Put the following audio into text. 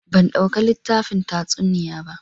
Ban dauka litafin tatsuniya bah.